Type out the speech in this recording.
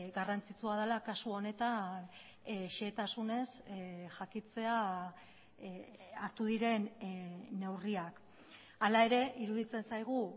garrantzitsua dela kasu honetan xehetasunez jakitea hartu diren neurriak hala ere iruditzen zaigu